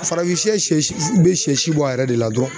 Farafin sɛ sɛ si be sɛ si bɔ a yɛrɛ de la dɔrɔn